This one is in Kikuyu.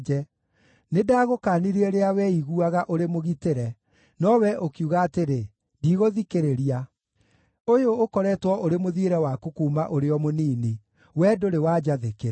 Nĩndagũkaanirie rĩrĩa weiguaga ũrĩ mũgitĩre, nowe ũkiuga atĩrĩ, ‘Ndigũthikĩrĩria!’ Ũyũ ũkoretwo ũrĩ mũthiĩre waku kuuma ũrĩ o mũnini; wee ndũrĩ wanjathĩkĩra.